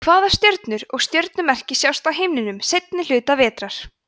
hvaða stjörnur og stjörnumerki sjást á himninum seinni hluta vetrar